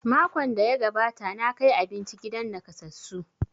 Makon da ya gabata na kai abinci gidan nakasassu